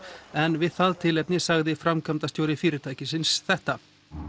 en við það tilefni sagði framkvæmdastjóri fyrirtækisins þetta